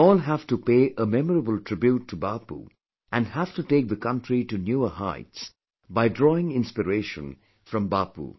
We all have to pay a memorable tribute to Bapu and have to take the country to newer heights by drawing inspiration from Bapu